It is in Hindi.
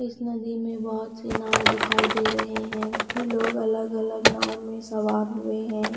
इस नदी में बहुत से नाव दिखाई दे रहे हैं ये लोग अलग अलग नाव में सवार हुए हैं।